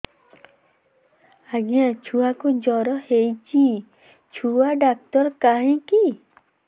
ଆଜ୍ଞା ଛୁଆକୁ ଜର ହେଇଚି ଛୁଆ ଡାକ୍ତର କାହିଁ କି